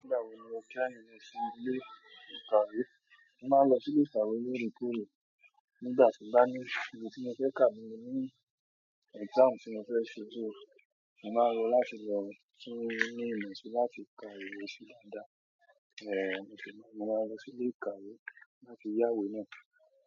Nígbà wo ni o kẹ́yìn lọ sí ilé ìkàwé? Mo máa ń lọ sí ilé ìkàwé ní Èkó. Nígbà tí n bá ní ìwé tí mo fẹ́ kà tí mo ní ní exam tí mo fẹ́ ṣe. Só mo máa n lọ láti lọ tún ìmọ̀ mi ṣe áti láti ka ìwé sí dáadáa. Mo sì máa n lọ, mo máa n lọ sí ilé ìkàwé láti yáwé náà.